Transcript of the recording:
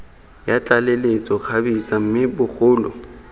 ya tlaleletso kgabetsa mme bogolo